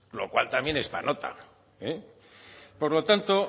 lo cual también es para nota por lo tanto